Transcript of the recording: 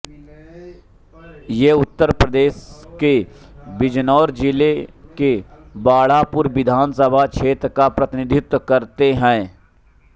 ये उत्तर प्रदेश के बिजनौर जिले के बढ़ापुर विधान सभा क्षेत्र का प्रतिनिधित्व करते हैं